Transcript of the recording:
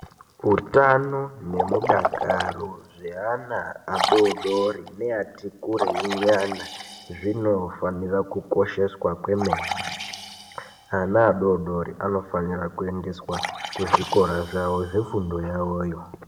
Hutano nemudakaro hweana adodori neati kurei nyana zvinofanira kukosheswa kwemene ana adodori anofanira kuendeswa kuzvikora zvefundo yavoyo.